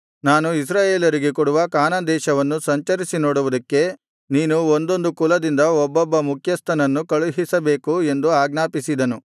ನಾನು ಇಸ್ರಾಯೇಲರಿಗೆ ಕೊಡುವ ಕಾನಾನ್ ದೇಶವನ್ನು ಸಂಚರಿಸಿ ನೋಡುವುದಕ್ಕೆ ನೀನು ಒಂದೊಂದು ಕುಲದಿಂದ ಒಬ್ಬೊಬ್ಬ ಮುಖ್ಯಸ್ಥನನ್ನು ಕಳುಹಿಸಬೇಕು ಎಂದು ಆಜ್ಞಾಪಿಸಿದನು